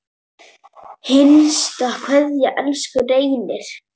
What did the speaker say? HINSTA KVEÐJA Elsku Reynir.